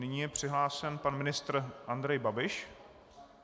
Nyní je přihlášen pan ministr Andrej Babiš.